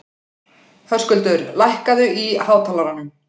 Höskuldur, lækkaðu í hátalaranum.